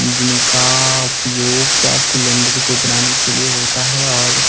जिनका उपयोग gas cylinder को बनाने के लिए होता है और--